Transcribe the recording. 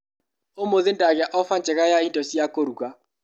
ũmũthĩ ndagĩa ofa njega ya indo cia kũruga.